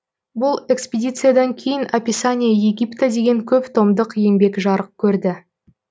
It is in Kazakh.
бұл экспедициядан кейін описание египта деген көп томдық еңбек жарық көрді